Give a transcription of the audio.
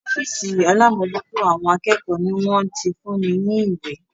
Ófìsì alámòjútó àwọn akẹ́kọ̀ọ́ ni wọ́n ti fún mi ní ìwé.